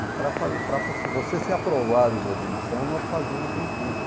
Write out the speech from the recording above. E para fa para você ser aprovado na admissão, nós fazíamos um curso.